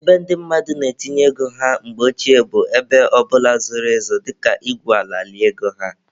Ebe ndị mmadụ na-etinye ego ha mgbe ochie bụ ebe ọbụla zoro ezo dịka igwu ala lie ego ha.